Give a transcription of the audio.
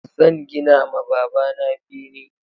Zan gina ma baba na bene